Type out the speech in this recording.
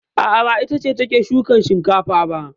A'a, ba ita ce take shukan shinkafa ba.